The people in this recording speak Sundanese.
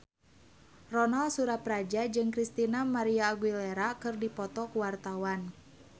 Ronal Surapradja jeung Christina María Aguilera keur dipoto ku wartawan